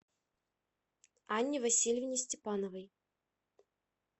анне васильевне степановой